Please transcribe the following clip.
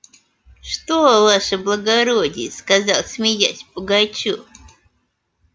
что ваше благородие сказал смеясь пугачёв